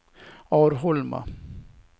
Arholma